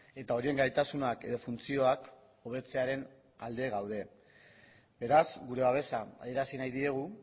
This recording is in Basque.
eta horien gaitasunak edo funtzioak hobetzearen alde gaude beraz gure babesa adierazi nahi diegu